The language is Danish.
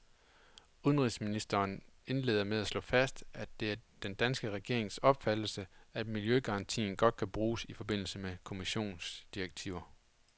Udenrigsministeren indleder med at slå fast, at det er den danske regerings opfattelse, at miljøgarantien godt kan bruges i forbindelse med kommissionsdirektiver.